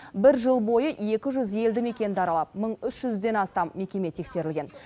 бір жыл бойы екі жүз елді мекенді аралап мың үш жүзден астам мекеме тексерілген